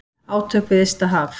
Átök við ysta haf.